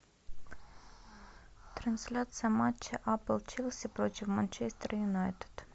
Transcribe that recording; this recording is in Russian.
трансляция матча апл челси против манчестер юнайтед